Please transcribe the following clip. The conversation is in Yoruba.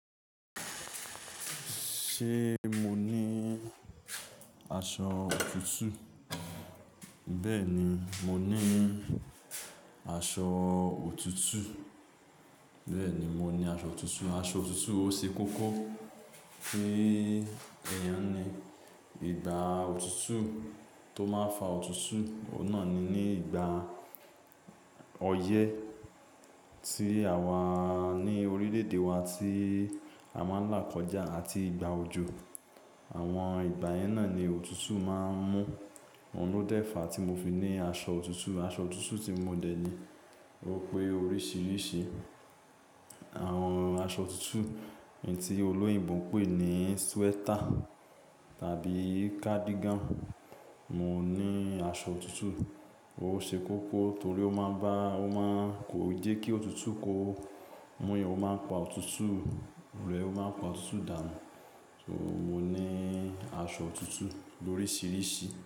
Ṣé mo ní aṣọ òtútù? Bẹ́ẹ̀ni, mo ní aṣọ òtútù. Bẹ́ẹ̀ni, mo ní aṣọ òtútù. Aṣọ òtútù ó ṣe kókó kí èèyàn ní. Igba òtútù tó máa ń fa òtútù, ọ̀un nà ni ní ìgbà ọyẹ́ tí àwa ní orílẹ̀-èdè wa tí a máa ń là kọjá àti ìgbà òjò. Àwọn ìgbà yẹn náà ni òtútù máa ń mú. Òun ló dẹ́fa tí mo fi ní aṣọ òtútù. Aṣọ òtútù tí mo dẹ̀ ní ó pé oríṣiríṣi. Àwọn aṣọ òtútù tí olóyìnbo ń pè ní sweater tàbí cardigan. Mo ní aṣọ òtútù. Ó ṣe kókó torí ó máa bá-- ó máa ń kò jẹ́ kí òtútù kó mú'yàn, ó máa ń pa òtútù rẹ, ó máa ń pa òtútù dànù. So mo ní aṣọ òtútù lóríṣiríṣi.